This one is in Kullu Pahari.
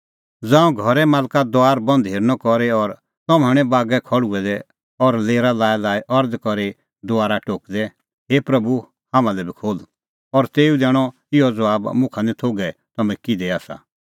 ज़ांऊं घरे मालका दुआर बंद हेरनअ करी और तम्हैं हणैं बागै खल़्हुऐ दै और लेरा लाईलाई अरज़ करी दुआरा टोकदै हे प्रभू हाम्हां लै बी खोल्ह और तेऊ दैणअ इहअ ज़बाब मुखा निं थोघै कि तम्हैं किधे आसा